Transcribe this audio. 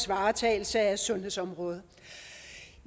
varetagelse af sundhedsområdet